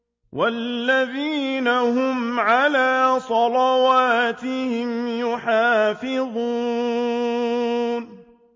وَالَّذِينَ هُمْ عَلَىٰ صَلَوَاتِهِمْ يُحَافِظُونَ